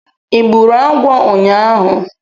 Ị gburu agwọ ụnyahụ